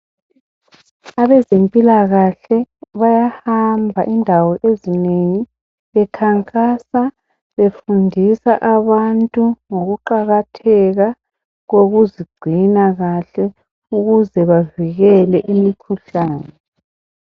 Abezempilakahle bayahamba indawo ezinengi bekhankasa befundisa abantu ngokuqakatheka kokuzigcina kahle ukuze bavikele imikhuhlane.